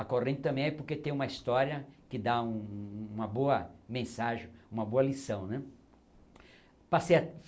A corrente também é porque tem uma história que dá um, um, uma boa mensagem, uma boa lição né. passei a